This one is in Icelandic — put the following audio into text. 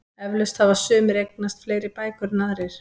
Eflaust hafa sumir eignast fleiri bækur en aðrir.